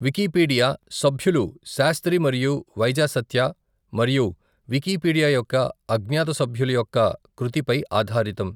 Wikipedia సభ్యులు శాస్త్రి మరియు వైజాసత్య మరియు వికీపీడియా యొక్క అజ్ఞాత సభ్యులు యొక్క కృతిపై ఆధారితం.